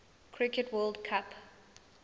cricket world cup